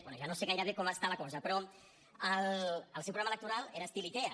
bé ja no sé gairebé com està la cosa però el seu programa electoral era estil ikea